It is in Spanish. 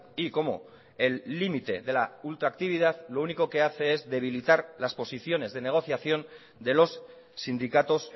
y como el límite de la ultractividad lo único que hace es debilitar las posiciones de negociación de los sindicatos